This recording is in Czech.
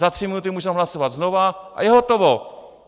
Za tři minuty můžeme hlasovat znova a je hotovo.